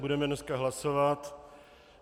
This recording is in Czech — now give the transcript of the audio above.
Budeme dneska hlasovat.